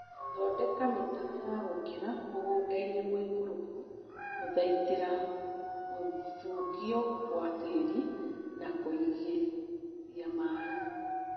Thondeka mĩtaro ya gũkĩra mũgũndainĩ mũikũrũku gũthaitĩra gũthukio gwa tĩri na kũigithia maĩĩ